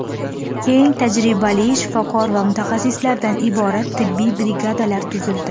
Eng tajribali shifokor va mutaxassislardan iborat tibbiy brigadalar tuzildi.